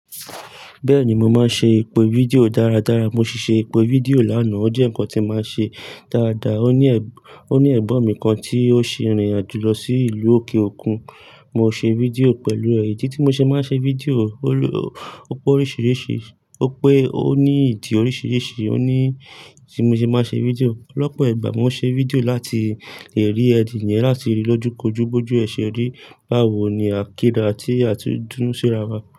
Bẹ́ẹ̀ni, mo máa ń ṣe èpo fídíò dáradára. Mo ṣì ṣe èpo fídíò láná. Ó jẹ́ ǹkan tí mo máa ń ṣe dáadáa. Ó ní ẹ̀gbọ̀n mi kan tí ó ṣe ìrìn àjò lọ sí ìlú òkè òkun. Mo ṣe fídíò pẹ̀lú ẹ̀. Idi tí mo ṣe máa ń ṣe fídíò ó pé oríṣiríṣi, ó pé ó ní ìdí oríṣiríṣi o ní tí mo ṣe máa ń ṣe fídíò lọ́pọ̀ ìgbà. Mo ṣe fídíò láti lè rí ẹ̀nìyẹn, láti lè ríi lójúkojú bójú ẹ̀ se ri Báwo ni àkéda tí àti dún sí ra wa.